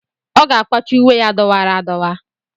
Ọ ga-akwachi uwe ya dọwara adọwa.